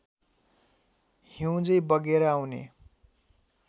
हिउँझैँ बगेर आउने